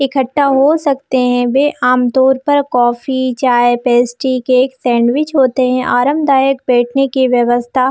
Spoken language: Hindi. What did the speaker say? इकठ्ठा हो सकते है वे आमतौर पर कॉफ़ी चाय पेस्ट्री केक सैंडविच होते है आरामदायक बैठने की व्यस्था--